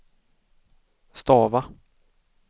stava